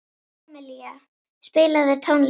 Amilía, spilaðu tónlist.